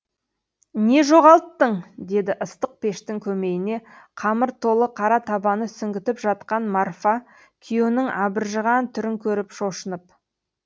не жоғалттың деді ыстық пештің көмейіне қамыр толы қара табаны сүңгітіп жатқан марфа күйеуінің абыржыған түрін көріп шошынып